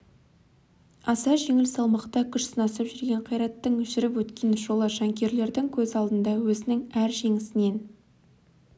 аса жеңіл салмақта күш сынасып жүрген қайраттың жүріп өткен жолы жанкүйерлердің көз алдында өзінің әр жеңісінен